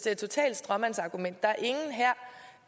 er et totalt stråmandsargument